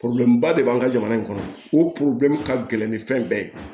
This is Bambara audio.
ba de b'an ka jamana in kɔnɔ o ka gɛlɛn ni fɛn bɛɛ ye